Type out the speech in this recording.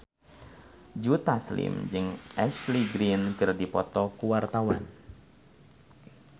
Joe Taslim jeung Ashley Greene keur dipoto ku wartawan